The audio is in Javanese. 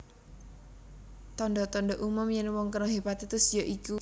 Tanda tanda umum yen wong kena hepatitis ya iku